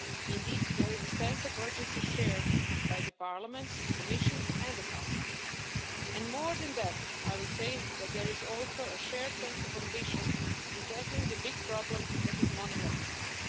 Indeed, there is a sense of urgency shared by Parliament, the Commission and the Council, and more than that, I would say that there is also a shared sense of ambition in tackling the big problem that is money laundering.